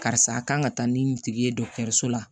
Karisa kan ka taa ni tigi ye so la